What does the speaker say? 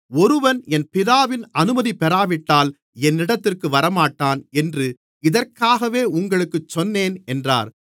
ஒருவன் என் பிதாவின் அனுமதி பெறாவிட்டால் என்னிடத்திற்கு வரமாட்டான் என்று இதற்காகவே உங்களுக்குச் சொன்னேன் என்றார்